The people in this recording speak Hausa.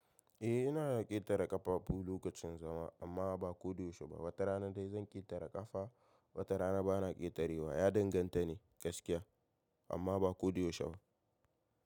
Eh, ina na ƙetare ƙafafu lokacin zama amma ba koɗe yaushe ba. Wata rana dai zan ƙetare ƙafa, wata rana bana ƙetarewa. Ya danganta ne gaskiya amma ba koɗe yaushe ba.